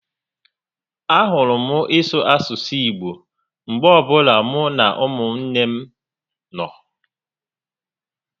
A hụrụ m ịsụ asụsụ Igbo mgbe ọbụla mụ na umunne m nọ